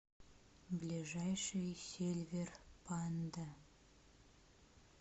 ближайший сильвер панда